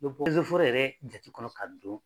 yɛrɛ jate kɔnɔ ka don